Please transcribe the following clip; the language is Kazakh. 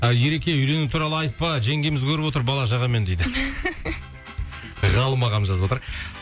ереке үйлену туралы айтпа жеңгеміз көріп отыр бала шағамен дейді ғалым ағам жазып отыр